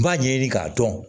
N b'a ɲɛɲini k'a dɔn